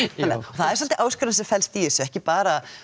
er svolítil áskorun sem fellst í þessu ekki bara